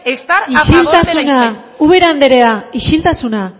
estar a favor isiltasuna ubera andrea isiltasuna